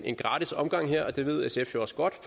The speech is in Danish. en gratis omgang her og det ved sf jo også godt